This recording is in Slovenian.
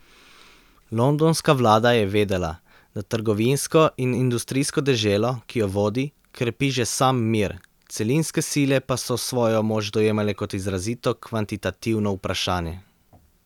Londonska vlada je vedela, da trgovinsko in industrijsko deželo, ki jo vodi, krepi že sam mir, celinske sile pa so svojo moč dojemale kot izrazito kvantitativno vprašanje.